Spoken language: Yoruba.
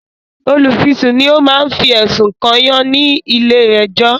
Olùfisùn ni o ma fi ẹ̀sùn kànyàn ní ilé ẹ̀jọ́